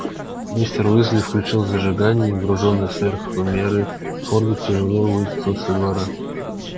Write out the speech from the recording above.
мистер уизли включил зажигание и груженный сверх меры фордик тяжело выкатил со двора